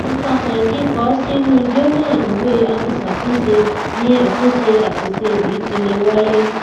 ipase kiko o sinu jona iwe afisatunse ni atunse asise yii ti le waye